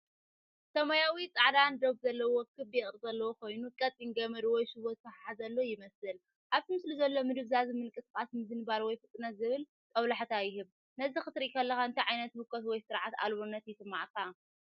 ሰማያውን ጻዕዳን ዶብ ዘለዎ ክቢ ቅርጺ ዘለዎ ኮይኑ፡ ቀጢን ገመድ ወይ ሽቦ ዝተተሓሓዘሉ ይመስል። ኣብቲ ምስሊ ዘሎ ምድብዛዝን ምንቅስቓስን ምዝንባል ወይ ፍጥነት ዝብል ጦብላሕታ ይህብ። ነዚ ክትሪኢ ከለኻ እንታይ ዓይነት ህውከት ወይ ስርዓት ኣልቦነት ይስምዓካ?